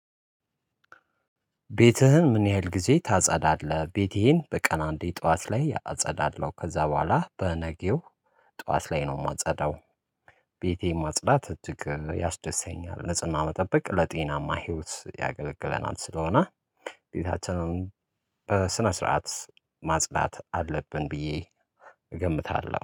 ቤትህን ምን ያህል ጊዜ ታጸዳለህ? ቤቴን በቀን አንዴ ጠዋት ላይ አጸዳለው ከዛ በኋላ በነገው ጠዋት ላይ ነው የማጸዳው። ቤቴን ማጽዳት እትክል ያስደሰኛል ንጽህና መጠበቅ ለጤናማ ህይወት ያገለግለናል ስለሆነ። ቤታቸውን በስነ ስርዓት ማጽዳት አለብን ብዬ እገምታለሁ